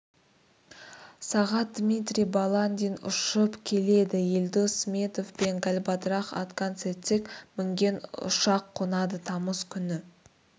сағат дмирий баландин ұшып келеді елдос сметов пен галбадрах отгонцэцэг мінген ұшақ қонады тамыз күні